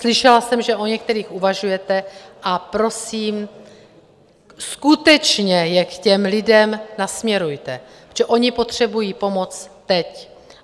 Slyšela jsem, že o některých uvažujete, a prosím, skutečně je k těm lidem nasměrujte, protože oni potřebují pomoc teď.